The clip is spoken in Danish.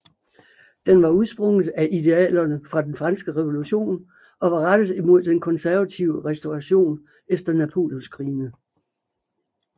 Den var udsprunget af idealerne fra den franske revolution og var rettet imod den konservative restauration efter Napoleonskrigene